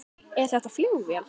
Er þetta flugvél?